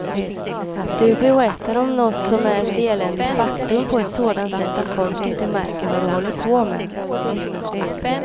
Du berättar om något som är ett eländigt faktum på ett sådant sätt att folk inte märker vad du håller på med.